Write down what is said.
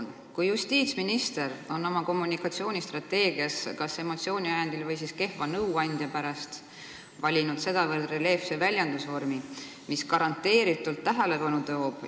Nüüd on justiitsminister oma kommunikatsioonistrateegias kas emotsiooni ajel või siis kehva nõuandja pärast valinud sedavõrd reljeefse väljendusvormi, mis garanteeritult on tähelepanu toonud.